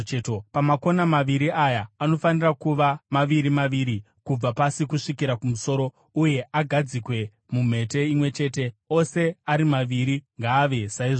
Pamakona maviri aya, anofanira kuva maviri maviri kubva pasi kusvikira kumusoro, uye agadzikwe mumhete imwe chete; ose ari maviri ngaave saizvozvo.